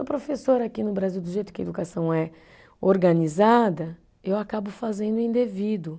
O professor aqui no Brasil, do jeito que a educação é organizada, eu acabo fazendo indevido.